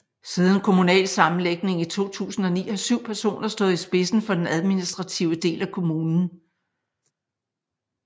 Siden kommunalsammenlægningen i 2009 har 7 personer stået i spidsen for den administrative del af kommunen